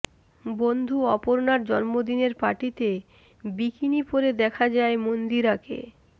বন্ধু অপর্ণার জন্মদিনের পার্টিতে বিকিনি পরে দেখা যায় মন্দিরাকে